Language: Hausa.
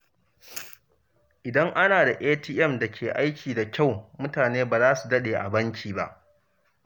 Idan ana da ATM da ke aiki da kyau, mutane ba za su daɗe a banki ba.